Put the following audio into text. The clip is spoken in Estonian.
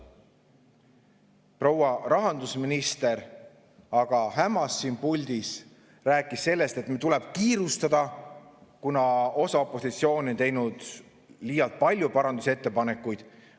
Proua rahandusminister aga hämas siin puldis, rääkis sellest, et tuleb kiirustada, kuna osa opositsiooni on teinud liialt palju parandusettepanekuid.